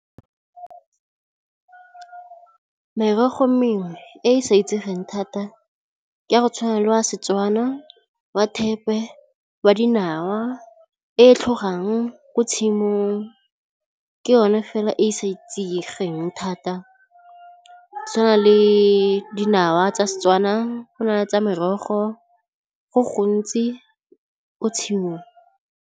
Merogo mengwe e e sa itsegeng thata ke a go tshwana le wa seTswana, wa thepe, wa dinawa e tlhogang ko tshimong ke yone fela e e sa itsegeng thata go tshwana le dinawa tsa seTswana, go na le tsa merogo go gontsi ko tshimong.